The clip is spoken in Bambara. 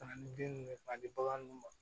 Ka na ni bin ninnu ye k'a di bagan ninnu ma